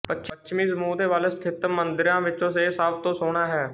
ਪੱਛਮੀ ਸਮੂਹ ਦੇ ਵੱਲ ਸਥਿਤ ਮੰਦਿਰਾਂ ਵਿਚੋਂ ਇਹ ਸਭ ਤੋਂ ਸੋਹਣਾ ਹੈ